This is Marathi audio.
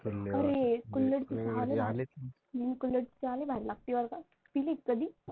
कुल्हड़ची चहा लई भारी लागते बरं का पिली आहे का कधी?